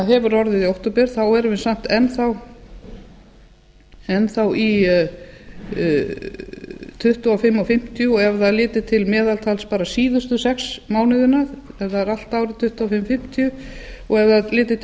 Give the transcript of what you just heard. hefur orðið í október erum við samt enn þá í tuttugu og fimm og fimmtíu og ef það er litið til meðaltals bara síðustu sex mánuðina ef það er allt árið tuttugu og fimm og fimmtíu og ef það er litið til